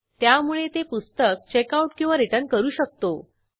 त्यामुळे ते पुस्तक checkoutरिटर्न करू शकू